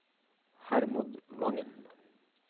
Hermod Wangen